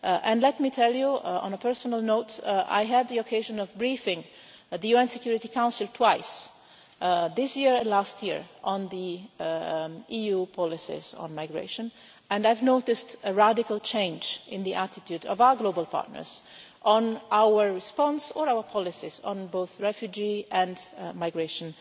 And let me tell you, on a personal note, I had the occasion of briefing the UN Security Council twice, this year and last year, on the EU policies on migration and I have noticed a radical change in the attitude of our global partners to our response, or our policies on both refugee and migration,